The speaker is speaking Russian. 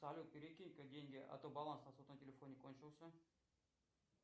салют перекинь ка деньги а то баланс на сотовом телефоне кончился